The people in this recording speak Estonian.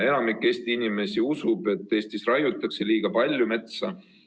Enamik Eesti inimesi usub, et Eestis raiutakse liiga palju metsa.